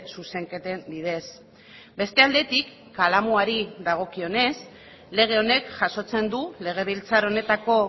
zuzenketen bidez beste aldetik kalamuari dagokionez lege honek jasotzen du legebiltzar honetako